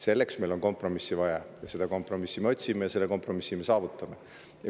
Selleks on meil vaja kompromissi, seda kompromissi me otsime ja selle kompromissi me saavutame.